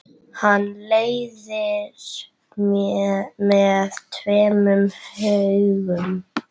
Hann leiðir með tveimur höggum.